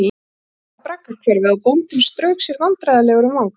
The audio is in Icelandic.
Þeir bentu á braggahverfið og bóndinn strauk sér vandræðalegur um vangann.